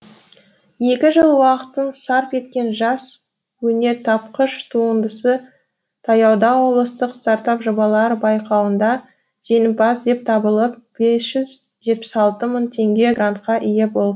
екі жыл уақытын сарп еткен жас өнертапқыш туындысы таяуда облыстық стартап жобалар байқауында жеңімпаз деп табылып бес жүз жетпіс алты мың теңге грантқа ие болды